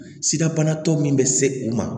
Sidabana tɔ min bɛ se u ma